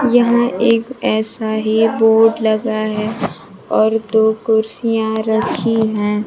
यहाँ एक ऐसा ही बोर्ड लगा है और दो कुर्सियां रखी हैं।